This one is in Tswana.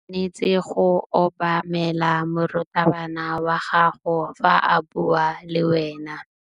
O tshwanetse go obamela morutabana wa gago fa a bua le wena.